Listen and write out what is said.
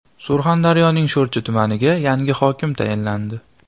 Surxondaryoning Sho‘rchi tumaniga yangi hokim tayinlandi.